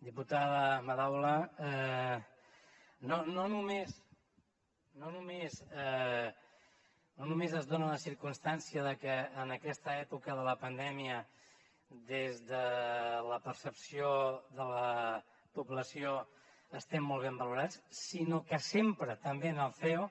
diputada madaula no només es dona la circumstància de que en aquesta època de la pandèmia des de la percepció de la població estem molt ben valorats sinó que sempre també en el ceo